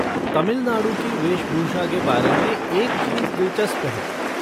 तमिलनाडु की वेशभूषा के बारे में एक चीज़ दिलचस्प है।